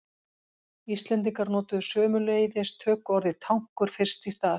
Íslendingar notuðu sömuleiðis tökuorðið tankur fyrst í stað.